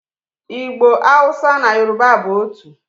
Igbo, Hausa na Yoruba bụ otu.